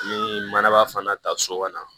Ni manaba fana ta so ka na